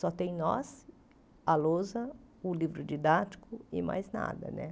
Só tem nós, a lousa, o livro didático e mais nada, né?